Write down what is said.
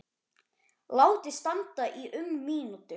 Látið standa í um mínútu.